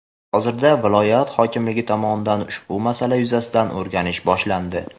Hozirda viloyat hokimligi tomonidan ushbu masala yuzasidan o‘rganish boshlandi.